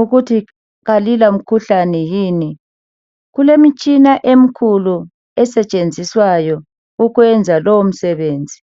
ukuthi kalilamkhuhlane yini. Kulemitshina emkhulu esetshenziswayo ukwenza lowo msebenzi.